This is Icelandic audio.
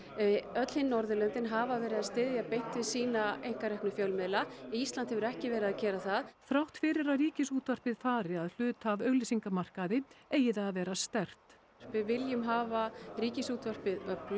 öll hin Norðurlöndin hafa verið að styðja beint við sína einkareknu fjölmiðla Ísland hefur ekki verið að gera það þrátt fyrir að Ríkisútvarpið fari að hluta af auglýsingamarkaði eigi það að vera sterkt við viljum hafa Ríkisútvarpið öflugt